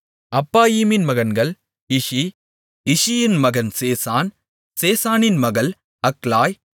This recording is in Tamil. அப்பாயிமின் மகன் இஷி இஷியின் மகன் சேசான் சேசானின் மகள் அக்லாய்